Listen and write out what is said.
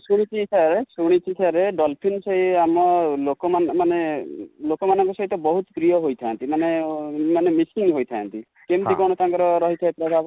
ଶୁଣିଛି sir ,ଶୁଣିଛି sir dolphin ସେଇ ଆମ ଲୋକ ମାନଙ୍କ ସହିତ ବହୁତ ପ୍ରିୟ ହୋଇ ଥାନ୍ତି|ମାନେ mixing ହୋଇ ଥାନ୍ତି କେମିତି କଣ ତାଙ୍କର ରହିଥାଏ ପ୍ରଭାବ ?